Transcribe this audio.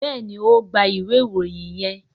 béèni o gbà ìwé Ìròyìn yén.